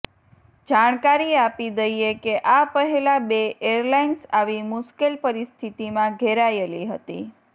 જાણકારી આપી દઈએ કે આ પહેલા બે એરલાઇન્સ આવી મુશ્કેલ પરિસ્થિતિમાં ઘેરાયેલી હતી